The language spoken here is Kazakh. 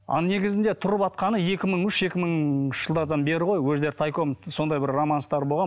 ал негізінде тұрватқаны екі мың үші екі мыңыншы жылдардан бері ғой өздері тайком сондай бір романстар болған